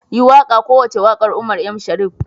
Yi wakar kowace wakar Umar M. shareef.